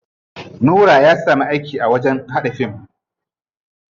Nura ya samu aiki a wajen haɗa fim.